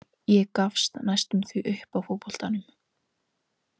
Ég gafst næstum því upp á fótboltanum.